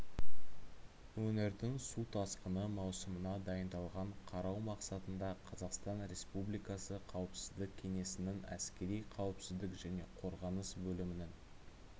өңірдің су тасқыны маусымына дайындығын қарау мақсатында қазақстан республикасы қауіпсіздік кеңесінің әскери қауіпсіздік және қорғаныс бөлімінің